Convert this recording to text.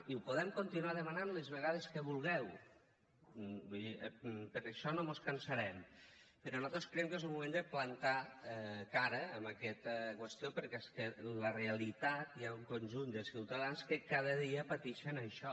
i ho podem continuar demanant les vegades que vulgueu vull dir per això no mos cansarem però nosaltres creiem que és un moment de plantar cara a aquesta qüestió perquè és que la realitat hi ha un conjunt de ciutadans que cada dia patixen això